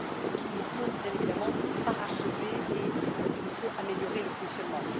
qu'il nous faut, bien évidemment, parachever, et dont il nous faut améliorer le fonctionnement.